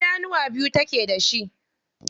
Idanuwa biyu take da shi.